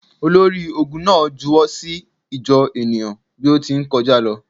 Olori-ogun na juwọ si ijọ enia bi o ti nkọja lọ.